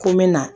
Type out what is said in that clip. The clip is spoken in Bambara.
Ko n bɛ na